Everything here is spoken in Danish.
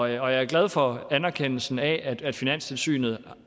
jeg er glad for anerkendelsen af at finanstilsynet